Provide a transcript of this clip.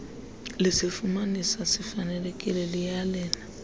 lisifumanisa sifanelekile liyalele